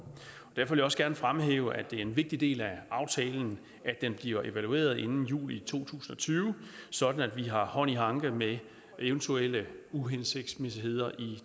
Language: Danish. derfor vil jeg også gerne fremhæve at det er en vigtig del af aftalen at den bliver evalueret inden juli to tusind og tyve sådan at vi har hånd i hanke med eventuelle uhensigtsmæssigheder i